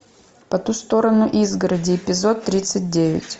по ту сторону изгороди эпизод тридцать девять